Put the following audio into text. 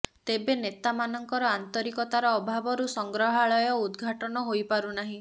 ତେବେ ନେତାମାନଙ୍କର ଆନ୍ତରିକତାର ଅଭାବରୁ ସଂଗ୍ରହାଳୟ ଉଦ୍ ଘାଟନ ହୋଇ ପାରୁନାର୍ହିଁ